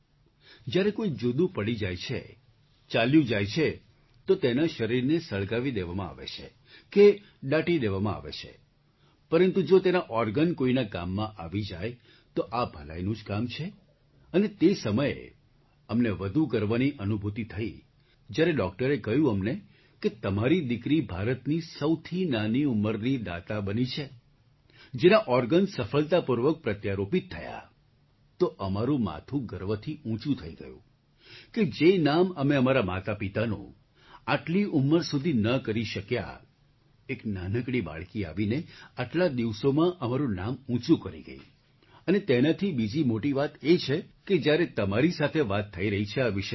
જ્યારે કોઈ જુદું પડી જાય છે ચાલ્યું જાય છે તો તેના શરીરને સળગાવી દેવામાં આવે છે કે દાટી દેવામાં આવે છે પરંતુ જો તેનાં ઑર્ગન કોઈનાં કામમાં આવી જાય તો આ ભલાઈનું જ કામ છે અને તે સમયે અમને વધુ ગર્વની અનુભૂતિ થઈ જ્યારે ડૉક્ટરે કહ્યું અમને કે તમારી દીકરી ભારતની સૌથી નાની ઉંમરની દાતા બની છે જેનાં ઑર્ગન સફળતાપૂર્વક પ્રત્યારોપિત થયાં તો અમારું માથું ગર્વથી ઊંચું થઈ ગયું કે જે નામ અમે અમારાં માતાપિતાનું આટલી ઉંમર સુધી ન કરી શક્યાં એક નાનકડી બાળકી આવીને આટલા દિવસોમાં અમારું નામ ઊંચું કરી ગઈ અને તેનાથી બીજી મોટી વાત એ છે કે આજે તમારી સાથે વાત થઈ રહી છે આ વિષયમાં